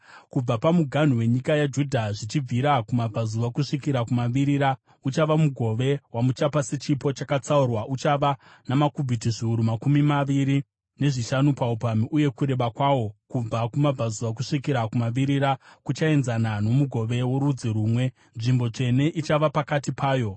“Kubva pamuganhu wenyika yaJudha zvichibvira kumabvazuva kusvikira kumavirira, uchava mugove wamuchapa sechipo chakatsaurwa. Uchava namakubhiti zviuru makumi maviri nezvishanu paupamhi uye kureba kwawo kubva kumabvazuva kusvikira kumavirira kuchaenzana nomugove worudzi rumwe, nzvimbo tsvene ichava pakati payo.